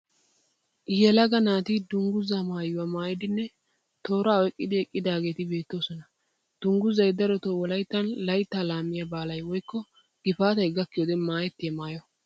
Yelaga naati dungguzaa maayuwa maayidinne tooraa oyqqidi eqqidaageeti beettoosona. Dungguzay darotoo wolayittan layitta laamiya baalay woyikko gifaatay gakkiyo wode maayettiya maayo.